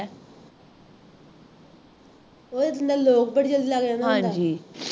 ਉਹਦੇ ਦੰਦਾ ਦਾ lock ਬੜੀ ਜਲਦੀ ਲੱਗ ਜਾਂਦਾ ਹੈਗਾ।